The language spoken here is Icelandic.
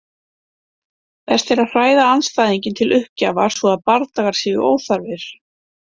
Best er að hræða andstæðinginn til uppgjafar svo að bardagar séu óþarfir.